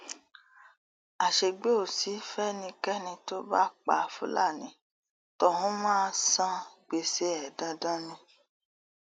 àṣegbè ò sí fẹnikẹni tó bá pa fúlàní tọhún máa san gbèsè ẹ dandan ni